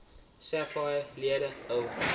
sapphire lede hul